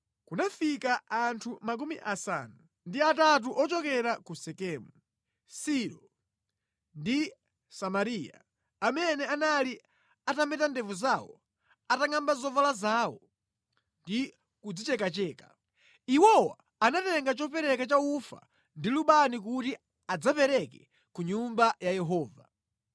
kunafika anthu 80 ochekera ku Sekemu, Silo ndi Samariya, amene anali atameta ndevu zawo, atangʼamba zovala zawo ndi kudzichekacheka. Iwowa anatenga chopereka cha ufa ndi lubani kuti adzapereke ku Nyumba ya Yehova.